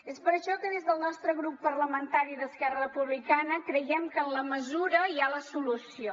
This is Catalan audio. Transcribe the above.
és per això que des del nostre grup parlamentari d’esquerra republicana creiem que en la mesura hi ha la solució